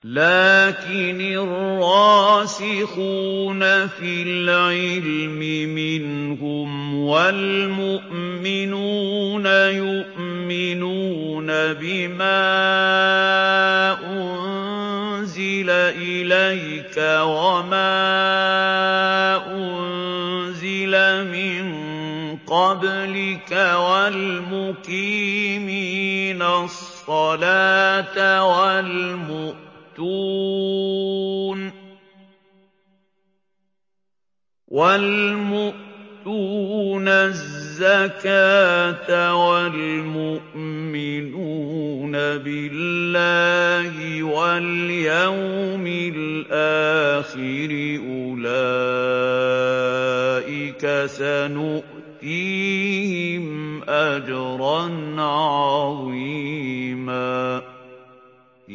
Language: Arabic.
لَّٰكِنِ الرَّاسِخُونَ فِي الْعِلْمِ مِنْهُمْ وَالْمُؤْمِنُونَ يُؤْمِنُونَ بِمَا أُنزِلَ إِلَيْكَ وَمَا أُنزِلَ مِن قَبْلِكَ ۚ وَالْمُقِيمِينَ الصَّلَاةَ ۚ وَالْمُؤْتُونَ الزَّكَاةَ وَالْمُؤْمِنُونَ بِاللَّهِ وَالْيَوْمِ الْآخِرِ أُولَٰئِكَ سَنُؤْتِيهِمْ أَجْرًا عَظِيمًا